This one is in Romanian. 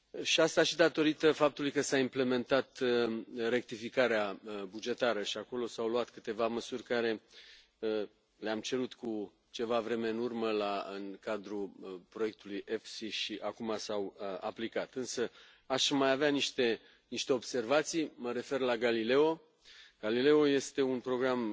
asta și datorită faptului că s a implementat rectificarea bugetară și acolo s au luat câteva măsuri pe care le am cerut cu ceva vreme în urmă în cadrul proiectului FC și acum s au aplicat, însă aș mai avea niște observații. Mă refer la Galileo, care este un program